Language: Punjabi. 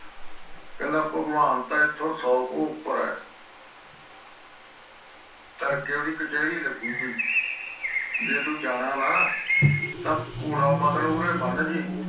ਕਹਿੰਦਾ ਭਗਵਾਨ ਤਾ ਇਥੋਂ ਸੂ ਘੂ ਉਪਰ ਆ ਤਾਰੜਕੇ ਓਹਦੀ ਕਾਛੇੜ ਲੱਗੂਗੀ ਜੇ ਤੂੰ ਜਾਣਾ ਤਾ ਘੋੜਾ ਇੱਥੇ ਬਨਜੀ